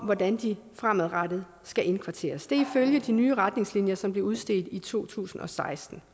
hvordan de fremadrettet skal indkvarteres det er ifølge de nye retningslinjer som blev udstedt i to tusind og seksten